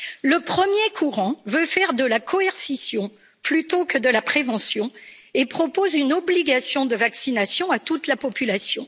Le premier courant veut faire de la coercition, plutôt que de la prévention, et propose une obligation de vaccination à toute la population.